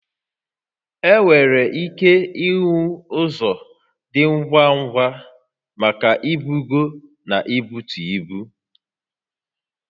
Enwere ike inwe ụzọ dị ngwa ngwa maka ibugo na ibutu ibu